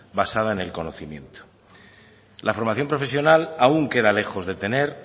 basada en el conocimiento la formación profesional aún queda lejos de tener